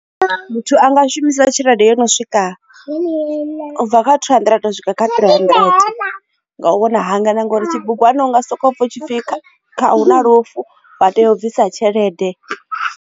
Muthu a nga shumisa tshelede yo no swika ubva kha two hundred u swika kha three hundred ende nga u vhona hanganea na ngauri tshibugwana unga soko pfha hu na lufu vha tea u bvisa tshelede.